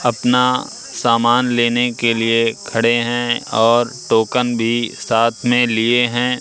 अपना सामान लेने के लिए खडे हैं और टोकन भी साथ मे लिएं हैं।